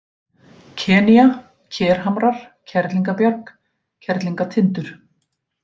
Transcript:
Kenýa, Kerhamrar, Kerlingabjarg, Kerlingatindur